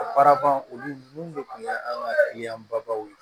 A baara ban olu mun de kun ye an ka babaw ye